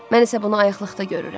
Mən isə bunu ayaqlıqda görürəm.